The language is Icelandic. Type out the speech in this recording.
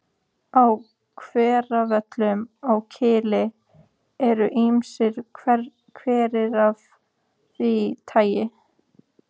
Á Hveravöllum á Kili eru ýmsir hverir af því tagi.